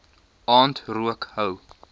aand rook hou